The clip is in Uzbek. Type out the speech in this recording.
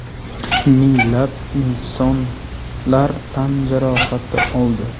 Minglab insonlar tan jarohati oldi.